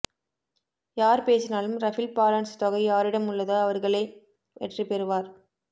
யார் பேசினாலும் ரபில் பாலன்ஸ் தொகை யாரிடம் உள்ளதோ அவர்களே வெற்றி பெறுவார்